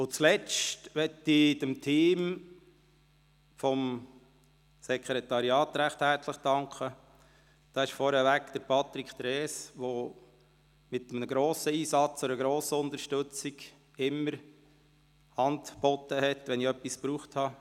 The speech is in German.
Schliesslich möchte ich dem Team des Sekretariats recht herzlich danken, vorab Patrick Trees, der mit einem grossen Einsatz, mit grosser Unterstützung stets Hand bot, wenn ich etwas brauchte.